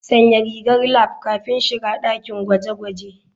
Sanya rigar lab kafin shiga dakin gwaje-gwaje.